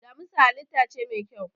Damisa halitta ce mai kyau.